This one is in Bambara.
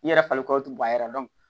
N'i yɛrɛ farikolo tun b'a la